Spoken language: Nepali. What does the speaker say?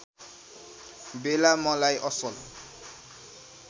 बेला मलाई असल